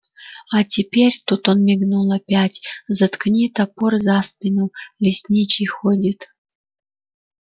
а теперь тут он мигнул опять заткни топор за спину лесничий ходит